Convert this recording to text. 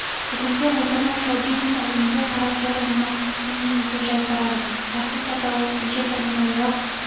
бүгінде отандық шоу-бизнес әлемінде қара пиар ұғымы кеңінен етек жайып барады әртіс атаулы неше түрліні ойлап